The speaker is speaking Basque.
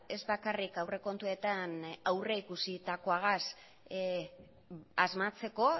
ez bakarrik aurrekontuetan aurrekusitakoagaz asmatzeko